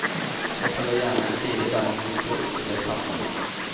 Så følger gjerne en side der man man blir spurt om det samme igjen.